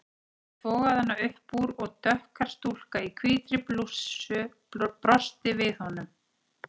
Hann togaði hana upp úr og dökkhærð stúlka í hvítri blússu brosti við honum.